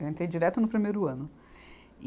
Eu entrei direto no primeiro ano. e